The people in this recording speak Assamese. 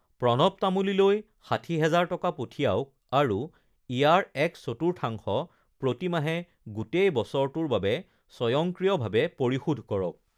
প্ৰণৱ তামুলীলৈ ষাঠি হাজাৰ টকা পঠিয়াওঁক আৰু ইয়াৰ এক চতুৰ্থাংশ প্ৰতিমাহে গোটেই বছৰটোৰ বাবে স্বয়ংক্ৰিয়ভাৱে পৰিশোধ কৰক